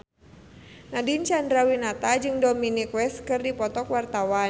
Nadine Chandrawinata jeung Dominic West keur dipoto ku wartawan